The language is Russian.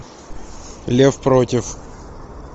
лев против